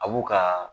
A b'u ka